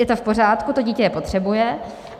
Je to v pořádku, to dítě je potřebuje.